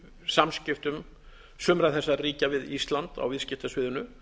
samskiptum sumra þessara ríkja við ísland á viðskiptasviðinu